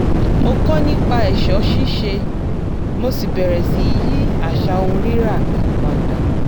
mo kọ́ nipa è̩s̩ó̩ sís̩e mo sì bẹ̀rẹ̀ sí í yí às̩à ohun rírà mi padà